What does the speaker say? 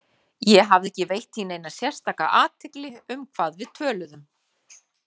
Ég hafði ekki veitt því neina sérstaka athygli um hvað við töluðum.